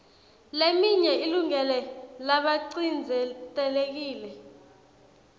leminye ilungele labacindzetelekile